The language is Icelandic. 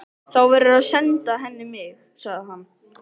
Þá verðurðu að senda henni mig, sagði hann.